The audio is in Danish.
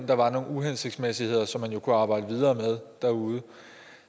der var nogle uhensigtsmæssigheder som man jo kunne arbejde videre med derude